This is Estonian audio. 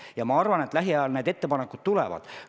Ja ma arvan, et lähiajal need ettepanekud tulevad.